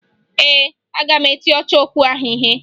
Ee, aga m eti ọchọokwu ahụ ihe